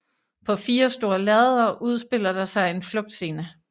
På 4 store lærreder udspiller der sig en flugtscene